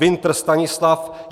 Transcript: Winter Stanislav